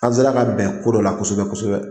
An se la ka bɛn ko dɔ la kosɛbɛ kosɛbɛ.